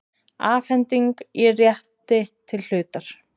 Afhending á rétti til hlutar.